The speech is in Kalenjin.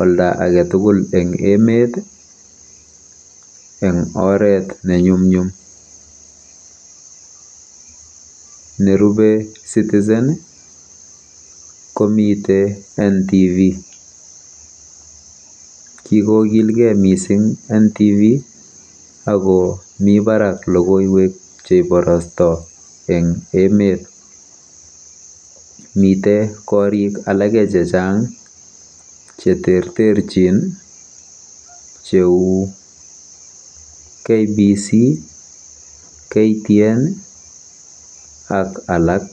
olda age tugul eng emet eng oret nenyumnyum. Nerubei Citizen komitei NTV. Kikoilkei mising NTV ako mi barak logoiwek cheibarostoi eng emet. Mitei korik alake chechang cheterterchin cheu KBC, KTN ak alak.